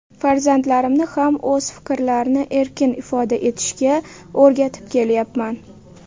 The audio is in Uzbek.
Farzandlarimni ham o‘z fikrlarini erkin ifoda etishga o‘rgatib kelyapman.